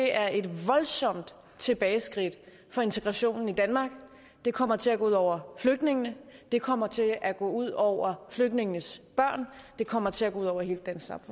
er et voldsomt tilbageskridt for integrationen i danmark det kommer til at gå ud over flygtningene det kommer til at gå ud over flygtningenes børn det kommer til at gå ud over hele